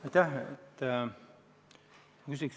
Aitäh!